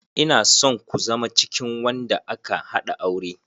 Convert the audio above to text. Ina son ku zama cikin wanda aka haɗa aure.